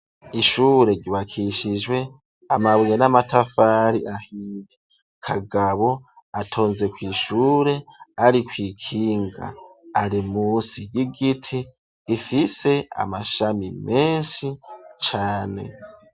Ishure ryubakishijwe amabuye n'amatafari ahiye ,Kagabo atonze kw'ishure ari kw'ikinga, ari musi y'igiti ifise amashami menshi cane.